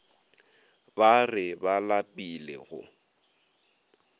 ba re ba lapile go